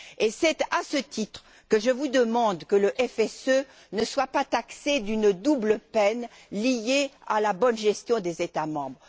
Et c'est à ce titre que je vous demande que le FSE ne soit pas taxé d'une double peine liée à la bonne gestion des États membres.